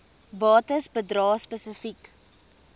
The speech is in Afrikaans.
bates bedrae spesifiek